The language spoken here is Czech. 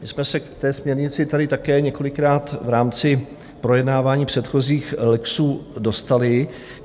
My jsme se k té směrnici tady také několikrát v rámci projednávání předchozích lexů dostali.